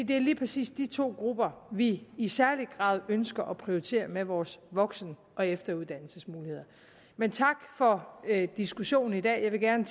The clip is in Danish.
det er lige præcis de to grupper vi i særlig grad ønsker at prioritere med vores voksen og efteruddannelsesmuligheder men tak for diskussionen i dag jeg vil gerne